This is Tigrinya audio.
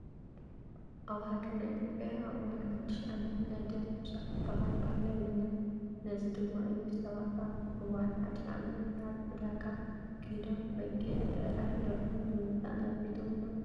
ኣብ ሃገርና ኢትዮጵያ ኣብ እዋን ሓዱሽ ዓመት ናይ ደም ምፍሳስ ዝበሃል ባህሊ ኣለና። ነዚ ድማ እዩ ሰባት ኣብ እዋን ሓዱሽ ዓመት ናብ ዕዳጋ ከይዶም በጊዕ፣ ብዕራይ፣ ዶርሆን ብምግዛእ ናብ ቤቶም ይመፁ።